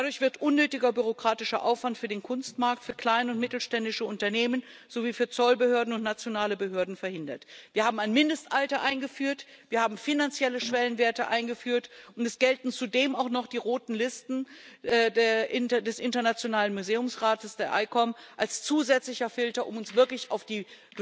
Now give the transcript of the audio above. Dadurch wird unnötiger bürokratischer Aufwand für den Kunstmarkt, für kleine und mittelständische Unternehmen sowie für Zollbehörden und nationale Behörden verhindert. Wir haben ein Mindestalter eingeführt, wir haben finanzielle Schwellenwerte eingeführt, und es gelten zudem auch noch die Roten Listen des Internationalen Museumsrates ICOM als zusätzlicher Filter, um uns wirklich auf die